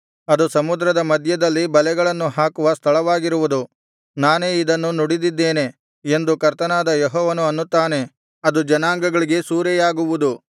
ಅದು ಸಮುದ್ರದ ಮಧ್ಯದಲ್ಲಿ ಬಲೆಗಳನ್ನು ಹಾಕುವ ಸ್ಥಳವಾಗಿರುವುದು ನಾನೇ ಇದನ್ನು ನುಡಿದಿದ್ದೇನೆ ಎಂದು ಕರ್ತನಾದ ಯೆಹೋವನು ಅನ್ನುತ್ತಾನೆ ಅದು ಜನಾಂಗಗಳಿಗೆ ಸೂರೆಯಾಗುವುದು